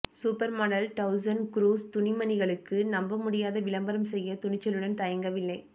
supermodel Doutzen Kroes துணிமணிகளுக்கு நம்பமுடியாத விளம்பரம் செய்ய துணிச்சலுடன் தயங்கவில்லை